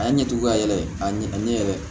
A ye ɲɛtugu ka yɛlɛ a ɲɛ a ɲɛ yɛrɛ